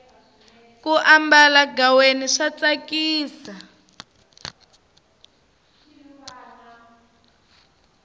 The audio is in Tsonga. ku ambala ghaweni swa tsakisa